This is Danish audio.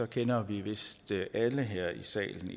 kender vi vist alle her i salen